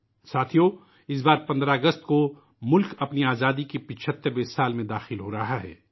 ساتھیو ، اس مرتبہ 15 اگست کو ، ملک آزادی کے 75 ویں سال میں داخل ہورہا ہے